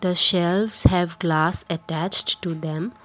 the shelves have glass attached to them.